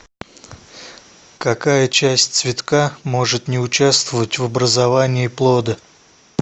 какая часть цветка может не участвовать в образовании плода